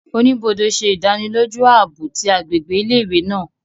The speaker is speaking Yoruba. Onibode ṣe idaniloju aabo ti agbegbe ile-iwe naa